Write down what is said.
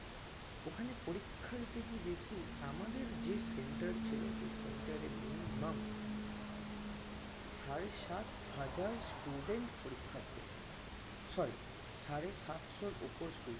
ওখানে পরিক্ষা দিতে গিয়ে দেখি আমাদের যে center ছিল সেই center এ minimum সাড়ে সাত হাজার student পরিক্ষা দিতে এসেছে sorry সাড়ে সাতশোর ওপর student